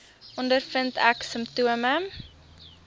ondervind ek simptome